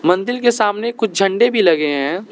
मंदिर के सामने कुछ झंडे भी लगे हैं।